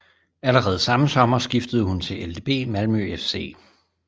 Allerede samme sommer skiftede hun til LdB Malmö FC